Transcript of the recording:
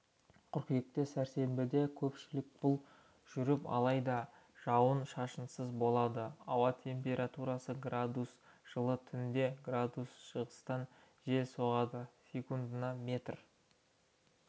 қыркүйекте сәрсенбіде көшпелі бұл жүріп алайда жауын шашынсыз болады ауа температурасы градус жылы түнде градус шығыстан жел соғады секундына метр